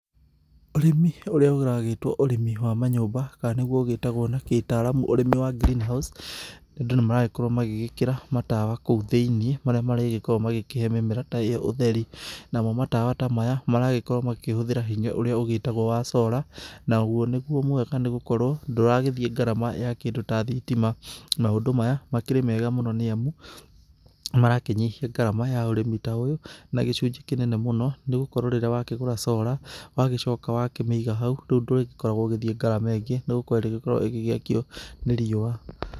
Ũrĩmĩ ũrĩa ũragĩtwo ũrĩmi wa manyũmba kana nĩgũo ũgĩtagwo na gĩtaramu ũrĩmi wa green house andũ nĩ maragĩkorwo magĩgĩkĩra matawa kũu thĩinĩ marĩa marĩgĩkoragwo makĩhe mĩmera ta ĩyo ũtheri ,namo matawa ta maya maragĩkorwo makĩhũthĩra hinya ũrĩa ũgĩtagwo wa solar nagũo nĩgũo mwega nĩ gũkorwo ndũragĩthiĩ ngarama ya kĩndũ ta thitima, maũndũ maya, makĩrĩ mega nĩamu nĩ marakĩnyihia ngarama ya ũrĩmi ta ũyũ na gĩcunjĩ kĩnene mũno nĩgũkorwo rĩraĩ wakĩgũra solar wagĩcoka wakĩmĩiga hau rĩu ndũrĩkoragwo ũgĩthiĩ ngarama ingĩ nĩ gũkorwo irĩkoragwo igĩgĩakio nĩ riũa.